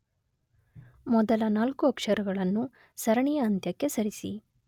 ಮೊದಲ ನಾಲ್ಕು ಅಕ್ಷರಗಳನ್ನು ಸರಣಿಯ ಅಂತ್ಯಕ್ಕೆ ಸರಿಸಿ.